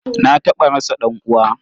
Na taɓa rasa ɗan'uwa.